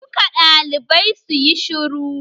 Duka ɗalibai suyi shiru!